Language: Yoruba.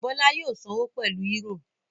Bọ́lá yóò sanwó pẹlu eúrò.